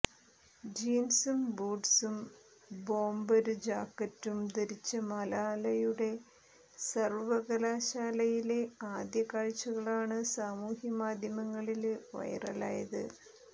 ജീന്സും ബൂട്ട്സും ബോംബര് ജാക്കറ്റും ധരിച്ച മലാലയുടെ സര്വ്വകലാശാലയിലെ ആദ്യ ആഴ്ചകളാണ് സമൂഹമാധ്യമങ്ങളില് വൈറലായത്